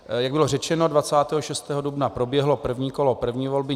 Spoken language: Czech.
Jak bylo řečeno, 26. dubna proběhlo první kolo první volby.